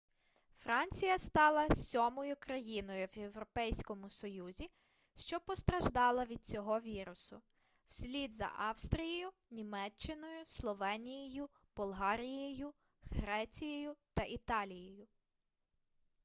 франція стала сьомою країною в європейському союзі що постраждала від цього вірусу вслід за австрією німеччиною словенією болгарією грецією та італією